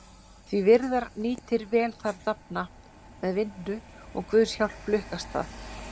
Því virðar nýtir vel þar dafna, með vinnu og guðs hjálp lukkast það.